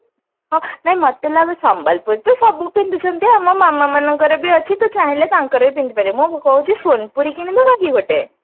ହଁ ନାଇଁ ମତେ ଲାଗେ ସମ୍ବଲପୁରୀ ତ ସବୁ ପିନ୍ଧୁଛନ୍ତି ଆମ ମାମା ମାନଙ୍କର ବି ଅଛି ତୁ ଚାହିଁଲେ ତାଙ୍କର ବି ପିନ୍ଧି ପାରିବୁ ମୁଁ କହୁଛି ସୋନପୁରୀ କିଣି ଦବା କି ଗୋଟେ